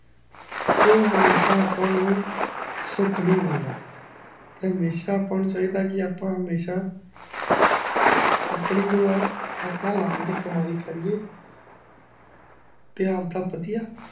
ਜੋ ਹਮੇਸ਼ਾ ਅੱਪਾ ਨੂੰ ਸੁਖ ਨੀ ਮਿਲਦਾ ਹਮੇਸ਼ਾ ਅੱਪਾ ਨੂੰ ਚਾਹੀਦਾ ਕਿ ਅੱਪਾ ਹਮੇਸ਼ਾ ਆਪਣੀ ਹਕ਼ ਹਲਾਲ ਦੀ ਕਮਾਇ ਕਰੀਏ ਤੇ ਆਪ ਦਾ ਵੜਿਆ